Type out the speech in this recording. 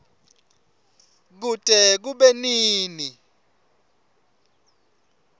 kute kube nini